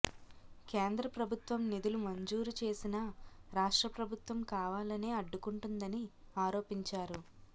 కేంద్ర ప్రభుత్వం నిధులు మంజూరు చేసినా రాష్ట్రప్రభుత్వం కావాలనే అడ్డుకుంటోందని ఆరోపించారు